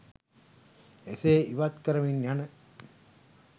එසේ ඉවත් කරමින් යන